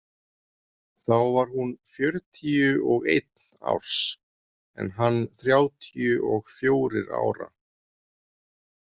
Þá var hún fjörutíu og einn árs en hann þrjátíu og fjórir ára.